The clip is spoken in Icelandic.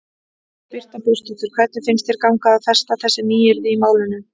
Birta Björnsdóttir: Hvernig finnst þér ganga að festa þessi nýyrði í málinu?